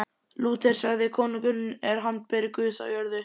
Lúter sagði: Konungurinn er handbendi Guðs á jörðu.